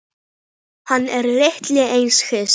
Hann er lítið eitt hissa.